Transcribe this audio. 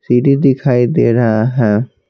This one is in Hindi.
सीडी दिखाई दे रहा है।